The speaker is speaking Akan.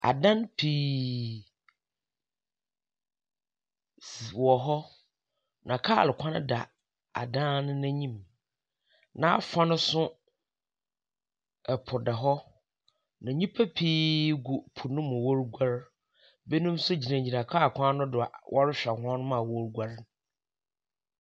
Adan pii si wɔ hɔ, na kaar kwan da adan no n’enyim, n’afa no so po da hɔ. Na nyimpa pii gu po no mu woruguar na binom so gyina kaar kwan no do a wɔrohwɛ hɔn a woruguar no.